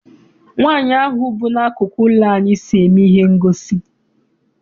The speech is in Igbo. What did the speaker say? Nwaanyi ahụ bu n'akụkụ ụlọ anyị so eme ihe ngosi.